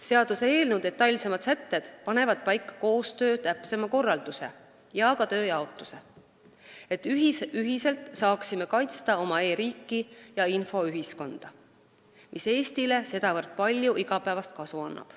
Seaduseelnõu detailsemad sätted panevad paika koostöö täpsema korralduse ja ka tööjaotuse, et saaksime ühiselt kaitsta oma e-riiki ja infoühiskonda, mis Eestile sedavõrd palju igapäevast kasu annab.